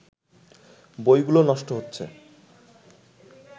বইগুলো নষ্ট হচ্ছে